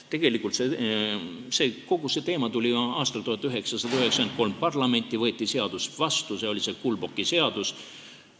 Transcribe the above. Tegelikult tuli kogu see teema parlamenti ju aastal 1993, seadus võeti vastu, see oli see Kulboki seadus.